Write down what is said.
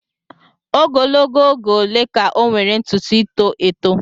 Ogologo oge ole ka ọ nwere ntutu ito eto?